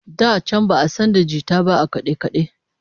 Da can ba'a san da jita ba a kade-kade